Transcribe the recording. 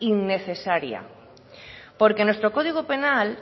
innecesaria porque nuestro código penal